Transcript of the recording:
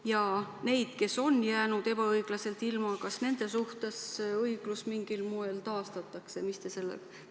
Ja kas nende suhtes, kes on jäänud teenustest ebaõiglaselt ilma, õiglus mingil moel taastatakse?